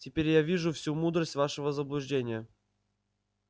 теперь я вижу всю мудрость вашего заблуждения